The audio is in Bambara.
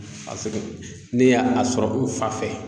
Paseke ne y'a sɔrɔ n fa fɛ.